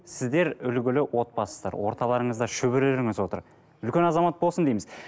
сіздер үлгілі отбасысыздар орталарыңызда шөберелеріңіз отыр үлкен азамат болсын дейміз